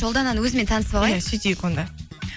ұлдананы өзімен танысып алайық иә сөйтейік онда